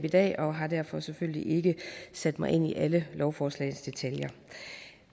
i dag og har derfor selvfølgelig ikke sat mig ind i alle lovforslagets detaljer